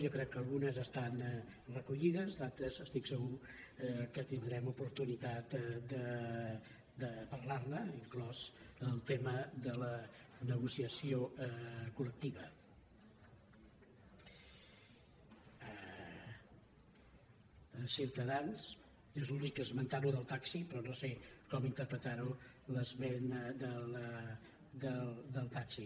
jo crec que algunes estan recollides d’altres estic segur que tindrem oportunitat de parlar ne inclòs el tema de la negociació col·ciutadans és l’únic que ha esmentat això del taxi però no sé com interpretar l’esment del taxi